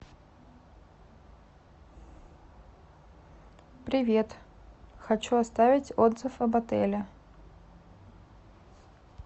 привет хочу оставить отзыв об отеле